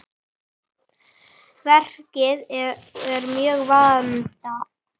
Verkið er mjög vandað.